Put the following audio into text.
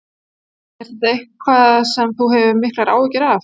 Er þetta eitthvað sem þú hefur miklar áhyggjur af?